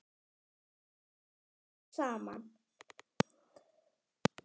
Þær voru þrjár saman.